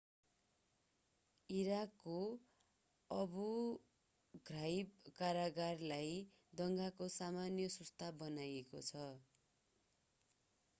इराकको Abu Ghraib कारागारलाई दंगाको समयमा सुस्त बनाइएको छ